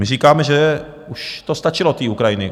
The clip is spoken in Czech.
My říkáme, že už to stačilo, tý Ukrajiny!